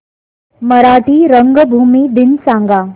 मराठी रंगभूमी दिन सांगा